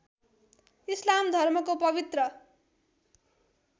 इस्लाम धर्मको पवित्र